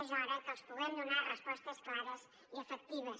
és hora que els puguem donar respostes clares i efectives